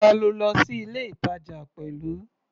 Ta lo lọ sí ilé-ìtàjà pẹ̀lú?